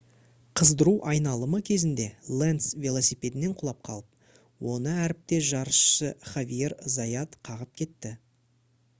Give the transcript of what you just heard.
қыздыру айналымы кезінде ленц велосипедінен құлап қалып оны әріптес жарысшы хавьер зайат қағып кетті